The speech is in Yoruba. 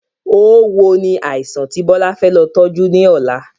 Oówo ni àìsàn ti Bọlá fẹ́ lọ tọju ni ọ̀la